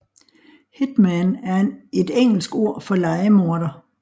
Hitman er et engelsk ord for lejemorder